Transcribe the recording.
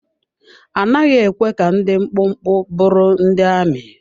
A naghị ekwe ka ndị dị mkpụmkpụ bụrụ ndị amị.